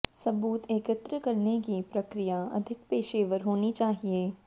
सबूत एकत्र करने की प्रक्रिया अधिक पेशेवर होनी चाहिए